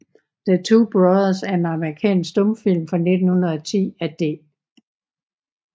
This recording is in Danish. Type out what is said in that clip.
The Two Brothers er en amerikansk stumfilm fra 1910 af D